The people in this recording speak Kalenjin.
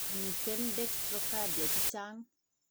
Miten dextcrocardia chechang'.